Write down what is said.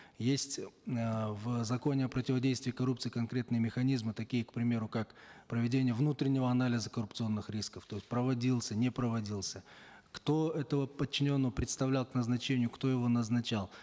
есть э в законе о противодействии коррупции конкретные механизмы такие к примеру как проведение внутреннего анализа коррупционных рисков то есть проводился не проводился кто этого подчиненного представлял к назначению кто его назначал